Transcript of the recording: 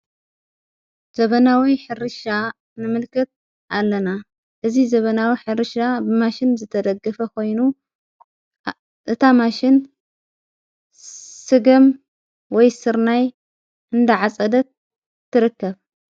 ዘበናዊይ ሕሪሻ ንምልከት ኣለና እዝ ዘበናዊ ኅርሻ ብማሽን ዘተደግፈ ኾይኑ እታ ማሽን ስገም ወይ ሥርናይ እንዳዓጸደት ትርከብ።